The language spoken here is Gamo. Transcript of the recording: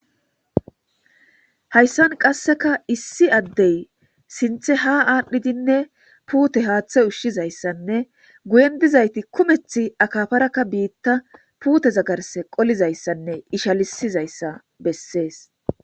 Hayssan qasseka issi addey sinthe ha aadhdhidinne puute haaththe ushshizayssanne guyen dizayti kumeth akafarakka biitta puute zagarse qolizayssanne ishalisizayssa bessees